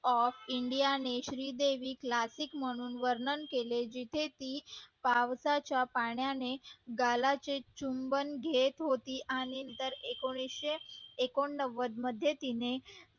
of india ने Shri Devi classic म्हणून वर्णन केले जिथे ती पावसाच्या पाण्याने गालाचे चुंबन घेत होती नंतर एकोणीशे एकोणवद मध्ये तिने